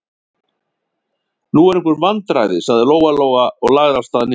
Nú eru einhver vandræði, sagði Lóa-Lóa og lagði af stað niður.